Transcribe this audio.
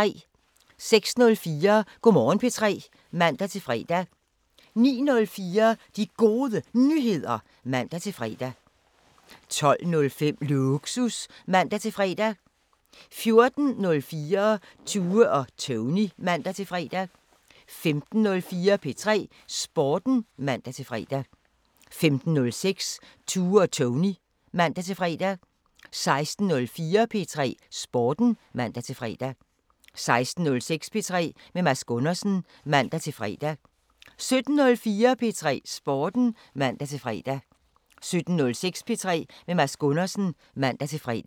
06:04: Go' Morgen P3 (man-fre) 09:04: De Gode Nyheder (man-fre) 12:05: Lågsus (man-fre) 14:04: Tue og Tony (man-fre) 15:04: P3 Sporten (man-fre) 15:06: Tue og Tony (man-fre) 16:04: P3 Sporten (man-fre) 16:06: P3 med Mads Gundersen (man-fre) 17:04: P3 Sporten (man-fre) 17:06: P3 med Mads Gundersen (man-fre)